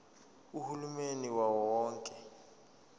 uhulumeni wawo wonke